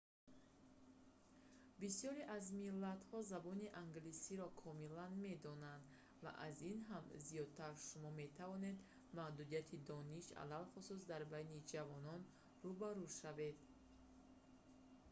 бисёре аз миллатҳо забони англисиро комилан медонанд ва аз ин ҳам зиёдтар шумо метавонед маҳдудияти дониш алалхусус дар байни ҷавонон рӯ ба рӯ шавед